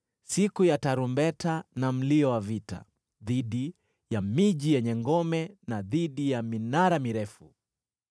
siku ya tarumbeta na mlio wa vita dhidi ya miji yenye ngome na dhidi ya minara mirefu.